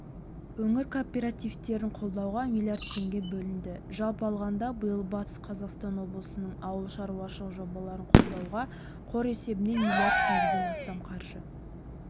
өңір кооперативтерін қолдауға млрд теңге бөлінді жалпы алғанда биыл батыс қазақстан облысының ауылшаруашылық жобаларын қолдауға қор есебінен млрд теңгеден астам қаржы